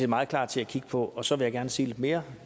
meget klar til at kigge på og så vil jeg gerne sige lidt mere